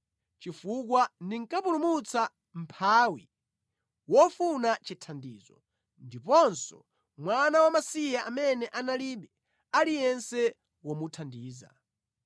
chifukwa ndinkapulumutsa mʼmphawi wofuna chithandizo, ndiponso mwana wamasiye amene analibe aliyense womuthandiza.